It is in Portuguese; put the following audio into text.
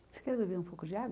Você quer beber um pouco de água?